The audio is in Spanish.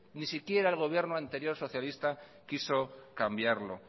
ni siquiera el gobierno anterior socialista quiso cambiarlo